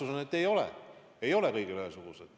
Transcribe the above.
Vastus on, et ei ole, ei ole kõigi jaoks ühesugused.